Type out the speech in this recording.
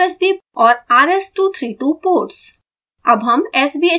usb और rs232 ports